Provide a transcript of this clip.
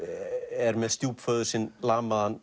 er með stjúpföður sinn